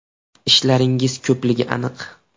Ishlaringiz ko‘pligi aniq.